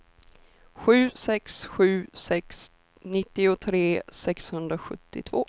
sju sex sju sex nittiotre sexhundrasjuttiotvå